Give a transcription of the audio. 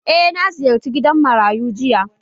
Eh, na ziyarce gidan marayu jiya